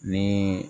Ni